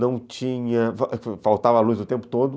Não tinha... faltava luz o tempo todo.